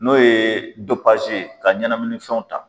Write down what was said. N'o ye ye ka ɲanamini fɛnw ta.